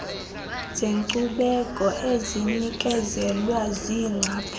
zeenkcubeko ezinikezelwe ziingcaphephe